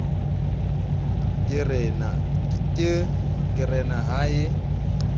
ke re na ha e